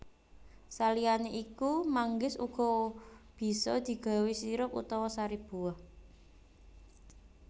Saliyané iku manggis uga bisa digawé sirup utawa sari buah